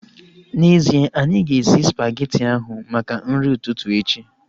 N'ezie, anyị ga-esi spageti ahu maka nri ụtụtụ echi